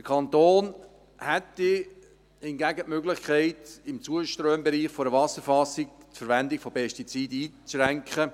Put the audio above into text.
Der Kanton hätte hingegen die Möglichkeit, im Zuströmbereich einer Wasserfassung die Verwendung von Pestiziden einzuschränken.